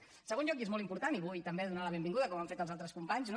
en segon lloc i és molt important i vull també donar la benvinguda com han fet els altres companys no